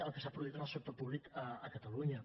el que s’ha produït en el sector públic a catalunya